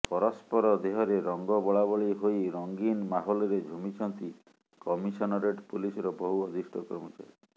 ପରସ୍ପର ଦେହରେ ରଙ୍ଗ ବୋଳାବୋଳି ହୋଇ ରଙ୍ଗିନ୍ ମାହୋଲରେ ଝୁମିଛନ୍ତି କମିସନରେଟ୍ ପୁଲିସର ବହୁ ବରିଷ୍ଠ ଅଧିକାରୀ